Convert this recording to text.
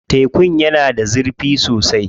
Tekun yana da zurfi sosai.